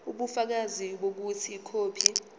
ubufakazi bokuthi ikhophi